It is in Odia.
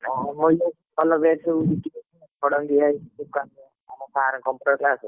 ହଁ କହିଲେ ଭଲ batch ସବୁ ଜୁଟିବେ ଖଡଙ୍ଗବିହାରୀ ଟୋକା ଆମ sir Computer sir ସେ।